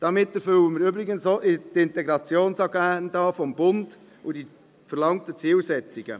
Damit erfüllen wir übrigens auch die Integrationsagenda des Bundes und die verlangten Zielsetzungen.